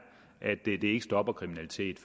at det ikke stopper kriminalitet